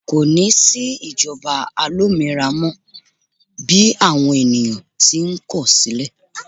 ko ni sí ìjoba alominira mọ bi awon ènìyàn ti n kọ sílè